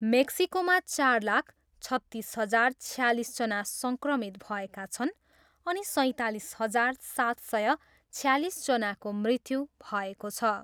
मेक्सिकोमा चार लाख, छत्तिस हजार छयालिसजना सङ्क्रमित भएका छन् अनि सैँतालिस हजार सात सय छयालिसजनाको मृत्यु भएको छ।